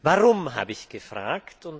Warum, habe ich gefragt.